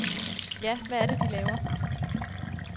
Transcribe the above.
Ja, hvad er det, de laver.